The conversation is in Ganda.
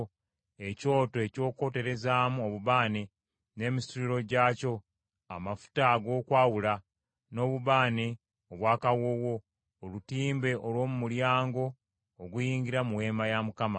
ekyoto eky’okwoterezaamu obubaane n’emisituliro gyakyo; amafuta ag’okwawula, n’obubaane obw’akawoowo; olutimbe olw’omu mulyango oguyingira mu Weema ya Mukama ;